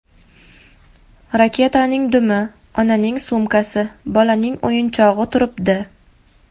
Raketaning dumi, onaning sumkasi, bolaning o‘yinchog‘i turibdi.